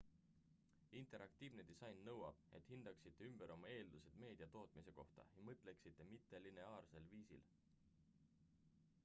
interaktiivne disain nõuab et hindaksite ümber oma eeldused meedia tootmise kohta ja mõtleksite mittelineaarsel viisil